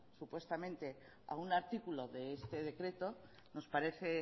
supuestamente a un artículo de este decreto nos parece